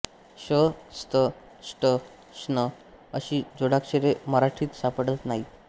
ष्त श्त श्ट श्ण अशी जोडाक्षरे मराठीत सापडत नाहीत